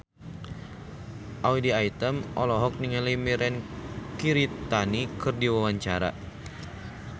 Audy Item olohok ningali Mirei Kiritani keur diwawancara